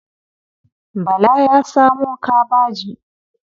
Bala ya samo kabaji.